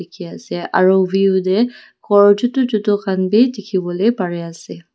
dikhiase aru view tae khor chutu chutu khan bi dikhiwolae parease.